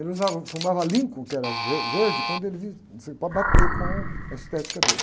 Ele usava, fumava, que era ver verde, quando ele vi, assim, para bater com a estética dele.